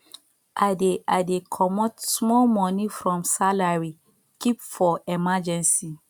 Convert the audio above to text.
i dey i dey comot small moni from salary keep for emergency